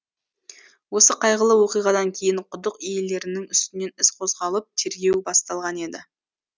осы қайғылы оқиғадан кейін құдық иелерінің үстінен іс қозғалып тергеу басталған еді